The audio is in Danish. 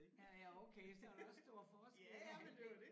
Ja ja okay så var der også stor forskel når han blev